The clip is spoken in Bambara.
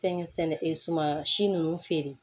Fɛnkɛ sɛnɛ ee suman si nunnu feere